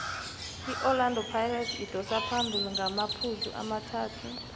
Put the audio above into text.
iorlando pirates idosa phambili ngamaphuzu amathathu